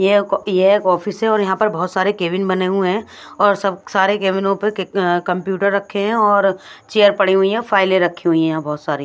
ये ये एक ऑफिस है और यहाँ पर बहुत सारे केबिन बने हुए हैं और सब सारे केबिनों पर कंप्यूटर रखे हैं और चेयर पड़ी हुई हैं फाइलें रखी हुई हैं यहाँ बहुत सारी--